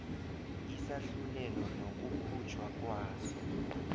isahlulelo nokukhutjhwa kwaso